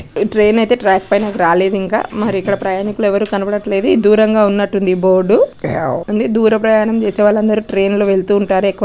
ఈ ట్రైన్ అయితే ట్రాక్ పైనకి రాలేదు .ఇంకా మరి ఇక్కడ ప్రయాణికులు ఎవరు కనబడటలేదు. ఈ దూరం గ ఉన్నట్టు ఉంది .బోర్డు దూర ప్రయాణం చేసే వాళ్ళు అందరు ట్రైన్లో వెళ్తూ ఉంటారు ఎక్కువ.